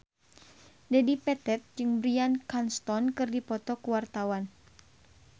Dedi Petet jeung Bryan Cranston keur dipoto ku wartawan